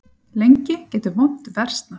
Lengi getur vont versnað.